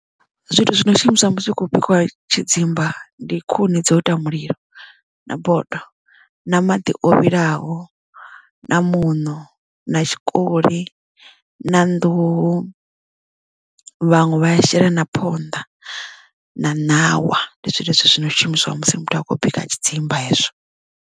Zwithu zwi no shumiswa musi hu kho bikiwa tshidzimba ndi khuni dzo ita mulilo na bodo na maḓi o vhilaho na muṋo na tshikoli na nḓuhu vhaṅwe vha ya shela na phonḓa na ṋawa ndi zwone zwithu zwino shumiswa musi muthu a khou bika tshidzimba hezwo.